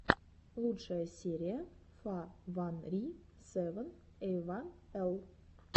лучшая серия фа ван ри сэвэн эй ван эл